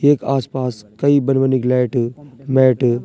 येक आस-पास कई बन-बनी की लाइट मैट ।